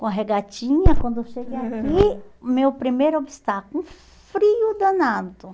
Com a regatinha, quando eu cheguei aqui, meu primeiro obstáculo, um frio danado.